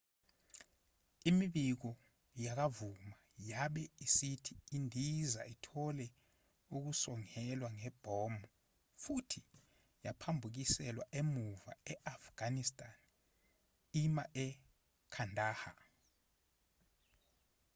imibiko yakamuva yabe isithi indiza ithola ukusongelwa ngebhomu futhi yaphambukiselwa emuva e-afghanistan ima e-kandahar